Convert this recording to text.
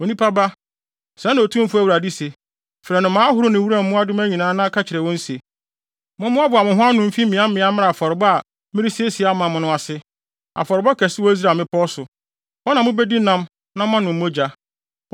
“Onipa ba, sɛɛ na Otumfo Awurade se: Frɛ nnomaa ahorow ne wuram mmoadoma nyinaa na ka kyerɛ wɔn se, ‘Mommoaboa mo ho ano mfi mmeaemmeae mmra afɔrebɔ a meresiesie ama mo no ase, afɔrebɔ kɛse wɔ Israel mmepɔw so. Hɔ na mubedi nam na moanom mogya.